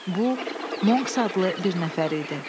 Bu Monks adlı bir nəfər idi.